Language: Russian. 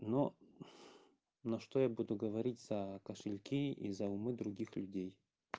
но ну что я буду говорить за кошельки из суммы других людей